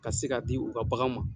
Ka se k'a di u ka bagan ma.